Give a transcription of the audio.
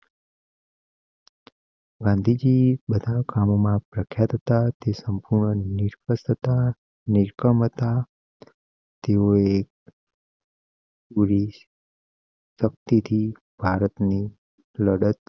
ગાંધીજી બતાવો કામ માં પ્રખ્યાત હતા તે સંપૂર્ણ નિષ્પક્ષતા હતા ની ક્ષમતા હતા તેઓ એક. ગુરિશ. શક્તિ થી ભારતની લડત